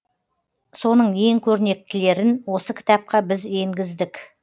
соның ең көрнектілерін осы кітапқа біз енгіздік